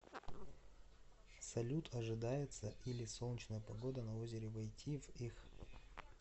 салют ожидается или солнечная погода на озере войти в их